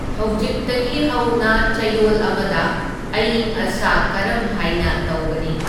ꯍꯧꯖꯤꯛꯇꯒꯤ ꯍꯧꯅ ꯆꯌꯣꯜ ꯑꯃꯗ ꯑꯏꯪ ꯑꯁꯥ ꯀꯥꯔꯝ ꯍꯥꯏꯅ ꯇꯧꯒꯅꯤ